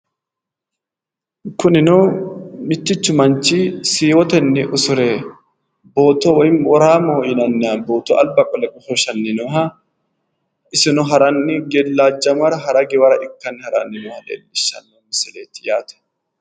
kunino mittichu manchi siiwotenni usure booto woy woraamoho yinanniha booto alba qole goshooshanni nooha isino gellajamanni hara giwanni nooha leellishshanno misileeti yaate